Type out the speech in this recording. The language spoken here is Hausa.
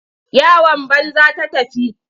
Yawan banza ta tafi.